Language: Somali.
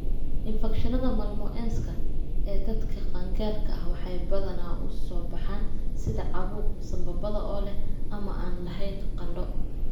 infekshannada malmoense-ka ee dadka qaangaarka ah waxay badanaa u soo baxaan sida caabuq sambabada oo leh ama aan lahayn qandho.